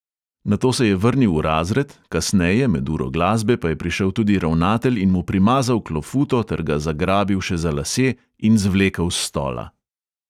Nato se je vrnil v razred, kasneje, med uro glasbe, pa je prišel tudi ravnatelj in mu primazal klofuto ter ga zagrabil še za lase in zvlekel s stola.